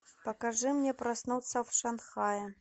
покажи мне проснуться в шанхае